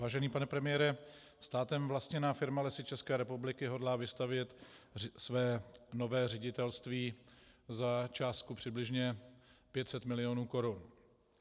Vážený pane premiére, státem vlastněná firma Lesy České republiky hodlá vystavět své nové ředitelství za částku přibližně 500 milionů korun.